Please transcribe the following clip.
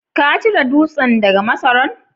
ka cire dutsen daga masaran?